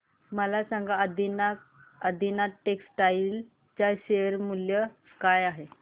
मला सांगा आदिनाथ टेक्स्टटाइल च्या शेअर चे मूल्य काय आहे